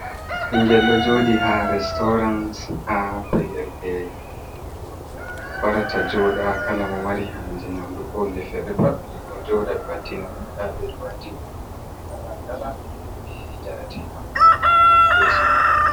Ɓingel ɗo jodi ha restaurans ha pellel ɓe warata joɗa kala mo mari ha je nyamdu ko hunde fere pat bi ɗo joda ɓe waddina mo nda ɓeɗo waddini mo kala kala be jarateɗam ha yeso mako